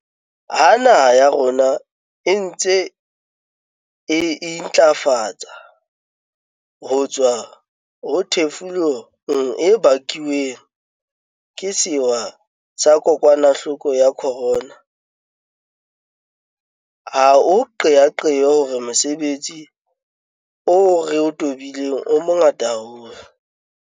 Ha naha ya rona e ntse e intlafatsa ho tswa ho thefulong e bakuweng ke sewa sa kokwanahloko ya corona, ha o qeaqeo hore mosebetsi o re o tobileng o mongata haholo.